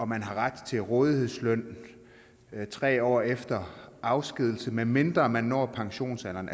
man ret til rådighedsløn i tre år efter afskedigelse medmindre man når pensionsalderen